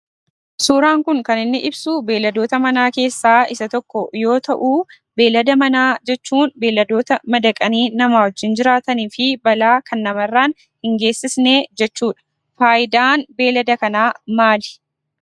Suuraan kun kaniinni ibsu beeladoota Mana keessa isa tokko yoo ta'u, beelada Mana jechuun, beeladoota madaqanii nama wajjin jiraatani fi balaa kan namarran hin geessifne jechuudha. faayidaan beelada kanaa maalii?